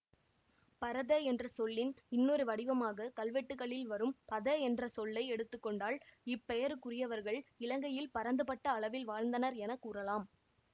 பரத என்ற சொல்லின் இன்னொரு வடிவமாக கல்வெட்டுக்களில் வரும் பத என்ற சொல்லை எடுத்து கொண்டால் இப்பெயருக்குரியவர்கள் இலங்கையில் பரந்துபட்ட அளவில் வாழ்ந்தனர் என கூறலாம்